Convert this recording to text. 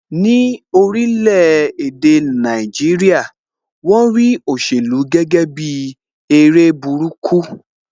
Ní orílè èdè Nàìjíríà, won rí òṣèlú gẹ́gẹ́ bi eré burúkú